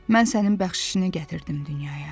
Mən sənin bəxşişini gətirdim dünyaya.